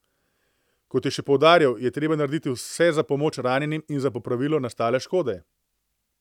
Kot je še poudaril, je treba narediti vse za pomoč ranjenim in za popravilo nastale škode.